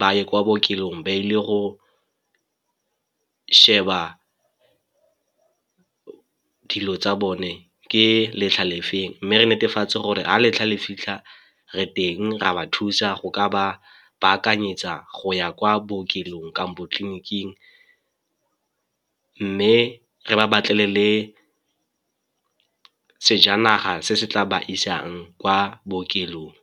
ba ye kwa bookelong ba ile go sheba dilo tsa bone ke letlha le feng. Mme re netefatse gore ha letlha le fitlha re teng ra ba thusa go ka ba baakanyetsa go ya kwa bookelong kampo tleliniking mme re ba batlele le sejanaga se se tla ba isang kwa bookelong.